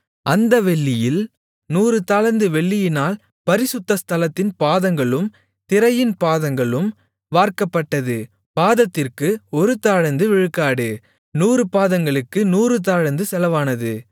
அந்த வெள்ளியில் நூறு தாலந்து வெள்ளியினால் பரிசுத்த ஸ்தலத்தின் பாதங்களும் திரையின் பாதங்களும் வார்க்கப்பட்டது பாதத்திற்கு ஒரு தாலந்து விழுக்காடு நூறு பாதங்களுக்கு நூறு தாலந்து செலவானது